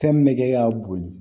Fɛn min bɛ kɛ ka boli